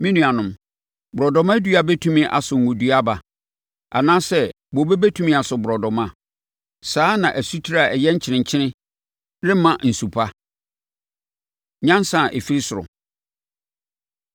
Me nuanom, borɔdɔma dua bɛtumi aso ngo dua aba? Anaasɛ bobe bɛtumi aso borɔdɔma? Saa ara na asutire a ɛyɛ nkyenenkyene remma nsu pa. Nyansa A Ɛfiri Ɔsoro